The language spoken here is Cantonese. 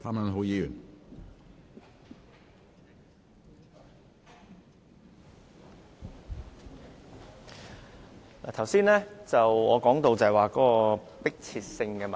主席，剛才我說到迫切性問題。